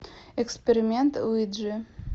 эксперимент уиджи